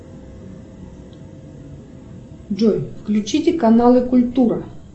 джой включите каналы культура